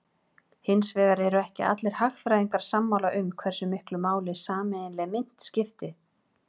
Hins vegar eru ekki allir hagfræðingar sammála um hversu miklu máli sameiginleg mynt skipti.